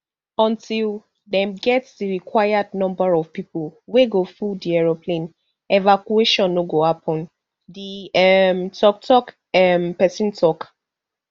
until dem get di required number of pipo wey go full di aeroplane evacuation no go happun di um toktok um pesin tok